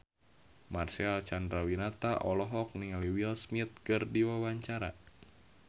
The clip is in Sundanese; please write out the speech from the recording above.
Marcel Chandrawinata olohok ningali Will Smith keur diwawancara